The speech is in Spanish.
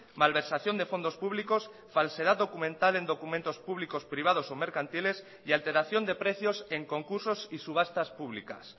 malversación de fondos públicos falsedad documental en documentos públicos privados o mercantiles y alteración de precios en concursos y subastas públicas